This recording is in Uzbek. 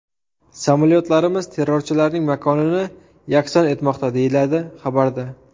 Samolyotlarimiz terrorchilarning makonini yakson etmoqda”, deyiladi xabarda.